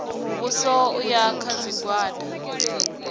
muvhuso u ya kha zwigwada